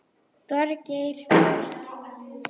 Þorgeir Björn.